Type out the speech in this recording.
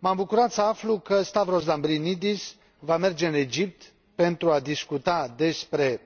M am bucurat să aflu că Stavros Lambrinidis va merge în Egipt pentru a discuta despre